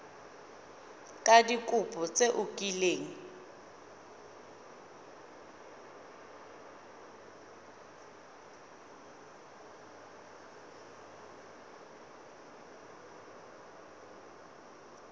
ka dikopo tse o kileng